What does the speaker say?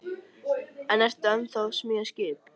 En ertu ennþá að smíða skip?